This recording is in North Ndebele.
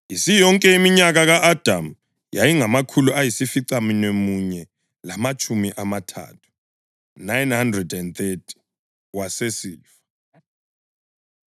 Isiyonke iminyaka ka-Adamu yayingamakhulu ayisificamunwemunye lamatshumi amathathu (930), wasesifa.